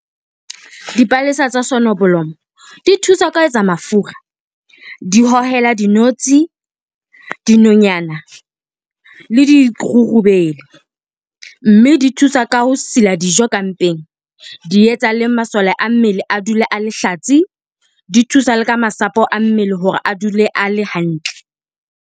Dipalesa tsa soneblomo di thusa ka ho etsa mafura di hohela di notsi, dinonyana le dirurubele, mme di thusa ka ho sila dijo ka mpeng. Di etsa le masole a mmele a dule a lehlatsi, di thusa le ka masapo a mmele hore a dule a le hantle.